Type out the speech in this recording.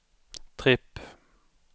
tripp